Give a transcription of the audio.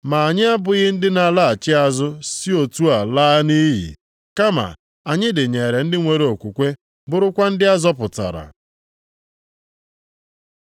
Ma anyị abụghị ndị na-alaghachi azụ si otu a laa nʼiyi. Kama anyị dịnyere ndị nwere okwukwe, bụrụkwa ndị a zọpụtara.